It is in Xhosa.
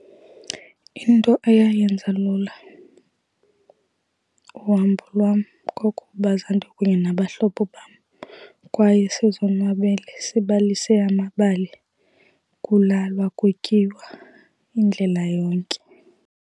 Into ayayenza lula uhambo lwam kwakukuba zandikunye nabahlobo bam. Kwaye sizonwabele, sibalise amabali, kulalwa, kutyiwa indlela yonke.